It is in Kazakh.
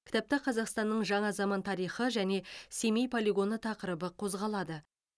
кітапта қазақстанның жаңа заман тарихы және семей полигоны тақырыбы қозғалады